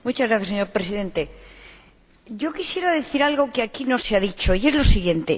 Señor Presidente, yo quisiera decir algo que aquí no se ha dicho y es lo siguiente.